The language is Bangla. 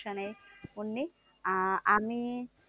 সমস্যা নেই মুন্নি আহ আমি